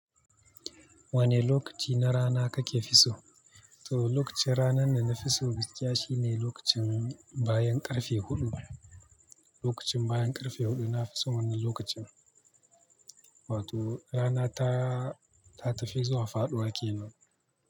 Wane lokaci na rana kake fisu? To lokacin ranan da na fisu gaskiya shine lokacin bayan ƙarfe huɗu. Lokacin bayan ƙarfe huɗu na fisu wannan lokacin. Wato, rana ta, ta tafi zuwa faɗuwa ke nan.